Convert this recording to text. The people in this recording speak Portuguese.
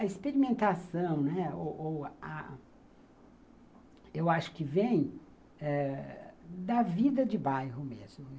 A experimentação, né, ou ou a, eu acho que vem da vida de bairro mesmo.